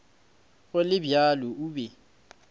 go le bjalo o be